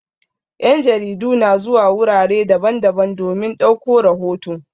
Yan' jaridu na zuwa wurare daban-daban domin ɗauko rahoto.